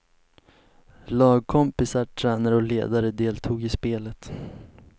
Lagkompisar, tränare och ledare deltog i spelet.